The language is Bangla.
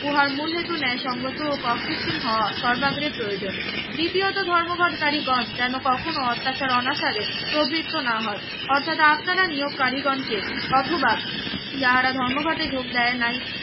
উহার মূলহেতু ন্যায় সঙ্গত অকৃত্রিম হওয়া সর্বাগ্রে প্রয়োজন দ্বিতীয়ত ধর্মঘটকারীগণ যেন কখনো অত্যাচার অনাচারে প্রবৃত্ত না হয় অর্থাৎ আপনারা নিয়োগকারী গণ কে অথবা যারা ধর্মঘটে যোগ দেয় নাই